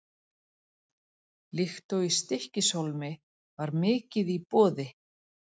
Líkt og í Stykkishólmi var mikið í boði.